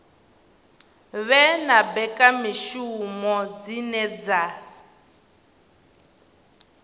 vhe na mbekamishumo dzine dza